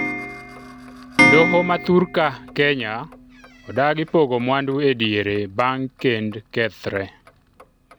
doho ma thurka ,Kenya odagi pogo mwandu ediere bang' kend kethre